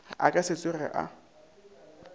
a ka se tsoge a